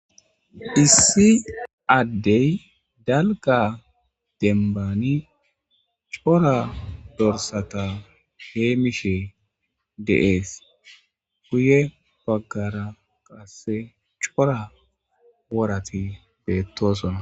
issi addey dalga denbani cora dorsata hee mishe deees guye baggara qasse cora worati beettosona